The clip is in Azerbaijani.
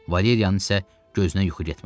Valeriyanın isə gözünə yuxu getmədi.